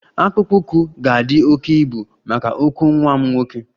Akpụkpọ ụkwụ ga-adị oke ibu maka ụkwụ nwa m nwoke